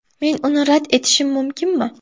Men uni rad etishim mumkinmi?